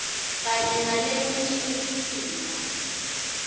kanye naleminye imitimba